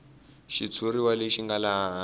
xitshuriwa lexi nga laha hansi